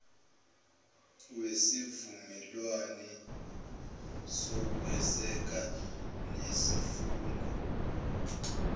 wesivumelwane sokweseka nesifungo